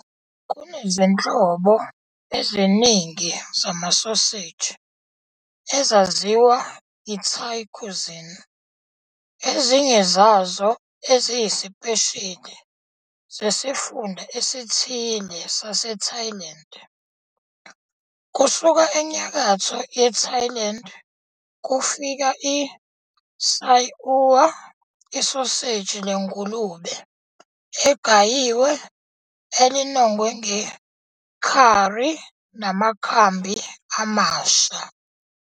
Kunezinhlobo eziningi zamasoseji ezaziwa yi- Thai cuisine, ezinye zazo eziyisipesheli sesifunda esithile saseThailand. Kusuka enyakatho yeThailand kufika i- "sai ua", isoseji lengulube egayiwe elinongwe nge- curry namakhambi amasha.